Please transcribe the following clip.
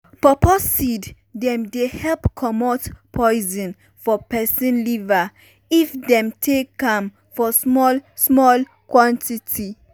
pawpaw seed dem dey help comot poison for peson liver if dem take am for small small quantity.